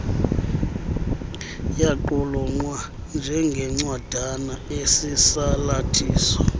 yaqulunqwa njengencwadana esisalathiso